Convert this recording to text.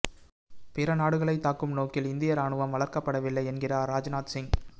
பிற நாடுகளைத் தாக்கும் நோக்கில் இந்திய ராணுவம் வளர்க்கப்படவில்லை என்கிறார் ராஜ்நாத் சிங்